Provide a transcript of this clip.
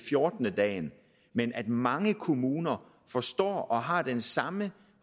fjorten dage men at mange kommuner forstår det og har den samme